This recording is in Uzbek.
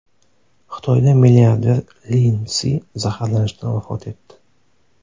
Xitoyda milliarder Lin Si zaharlanishdan vafot etdi.